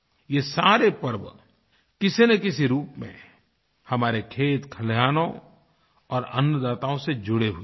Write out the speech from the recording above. ये सारे पर्व किसीनकिसी रूप में हमारे खेतखलिहानों और अन्नदाताओं से जुड़े हुए हैं